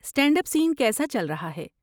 Stand up scene کیسا چل رہا ہے؟